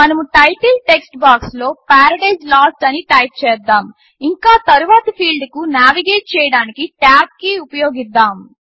మనము title text బాక్స్లో Paradise Lost అని టైప్ చేద్దాము ఇంకా తరువాతి ఫీల్డ్కు నావిగేట్ చేయడానికి టాబ్ కీ ఉపయోగిద్దాము